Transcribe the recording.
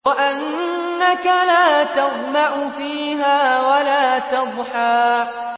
وَأَنَّكَ لَا تَظْمَأُ فِيهَا وَلَا تَضْحَىٰ